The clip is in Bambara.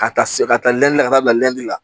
Ka taa se ka taa lɛn ka taa bila lɛ la